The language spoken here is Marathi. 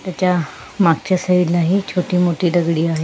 तेच्या मागच्या स्लाइडला ही छोटी मोठी दगडी आहे.